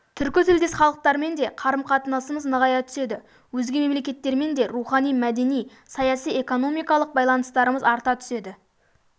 түркі тілдес халықтармен де қарым-қатынасымыз нығая түседі өзге мемлекеттермен де рухани мәдени саяси-экономикалық байланыстарымыз арта түседі